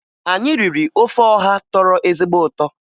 Anyị riri ofe ọha tọrọ ezigbo ụtọ